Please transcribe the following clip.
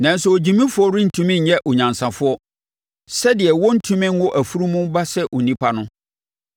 Nanso ogyimifoɔ rentumi nyɛ onyansafoɔ sɛdeɛ wɔrentumi nwo afunumu ba sɛ onipa no.